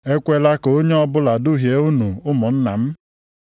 Ekwela ka onye ọbụla duhie unu ụmụnna m.